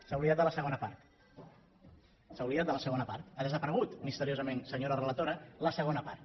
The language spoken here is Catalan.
s’ha oblidat de la segona part s’ha oblidat de la segona part ha desaparegut misteriosament senyora relatora la segona part